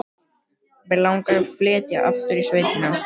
Mig langar að flytja aftur í sveitina.